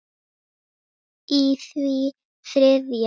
í því þriðja.